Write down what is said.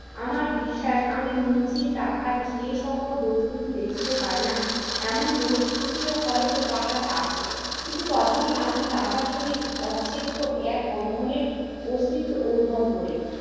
আমার বিশ্বাস আমি নিজে তাহার খেয়ে সকল দস্তুটি দেখিতে পাই না এমন দোষ ত্রুটিও হয়তো তাহার আছে কিন্তু তথাপি আমি তাহার সহিত অচ্ছেদ্য এক বন্ধনের অস্তিত্ব অনুভব করি।